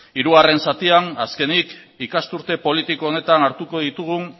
hirugarren zatian azkenik ikasturte politiko honetan hartuko ditugun